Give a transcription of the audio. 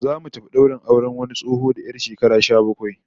Zamu tafi daurin auren wani tsoho da 'yar shekara sha bakwai